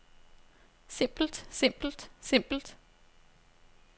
simpelt simpelt simpelt